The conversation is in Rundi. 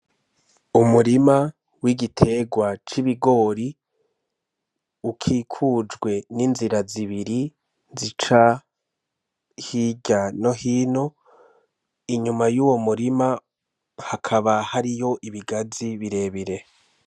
Umurima w'igiterwa c'ibigori, ukikujwe n'inzira zibiri zica hirya no hino. Inyuma y'uwo murima hakaba hariho ibigazi birebire.